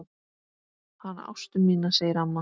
Hana Ástu mína segir amma.